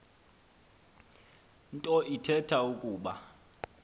nto ithetha ukuba